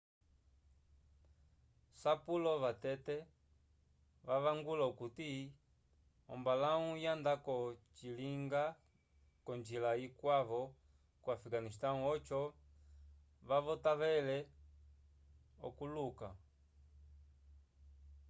sapulo vatete vavangula okuti ombalau yanda ko njila ikwavo ko afegasnistão oco kavotavele okuuluka